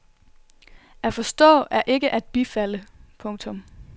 At forstå er ikke at bifalde. punktum